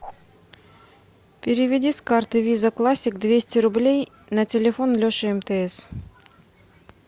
переведи с карты виза классик двести рублей на телефон леша мтс